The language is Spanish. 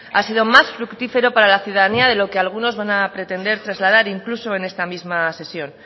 ha sido más fructífero para la ciudadanía de lo que algunos van a pretender trasladar incluso en esta misma sesión